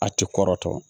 A tɛ kɔrɔtɔ